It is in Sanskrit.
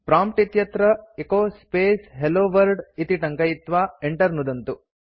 प्रॉम्प्ट् इत्यत्र एचो स्पेस् हेल्लो वर्ल्ड इति टङ्कयित्वा enter नुदन्तु